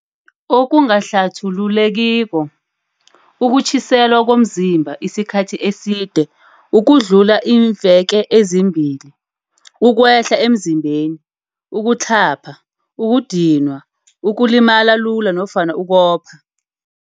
Okungahlathulule kiko. Ukutjhiselwa komzimba isikhathi eside ukudlula iimve ke ezimbili, ukwehla emzimbeni, ukutlhapha, ukudinwa, ukulimala lula nofana ukopha